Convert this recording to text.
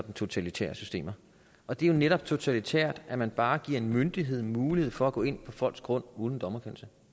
totalitære systemer og det er jo netop totalitært at man bare giver en myndighed mulighed for at gå ind på folks grund uden en dommerkendelse